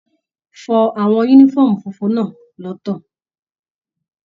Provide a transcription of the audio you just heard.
Fọ àwọn yúnífọ̀ọ́mù fúnfún náà lọtọ!